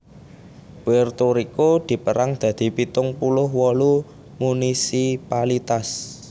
Puerto Riko dipérang dadi pitung puluh wolu munisipalitas